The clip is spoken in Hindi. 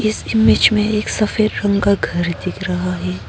इस इमेज में एक सफेद रंग का घर दिख रहा है।